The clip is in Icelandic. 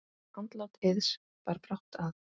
Andlát Eiðs bar brátt að.